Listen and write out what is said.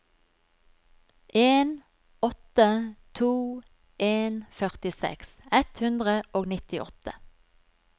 en åtte to en førtiseks ett hundre og nittiåtte